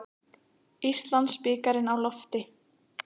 Íslandsbikarinn á lofti